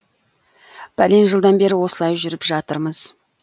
бәлен жылдан бері осылай жүріп жатырмыз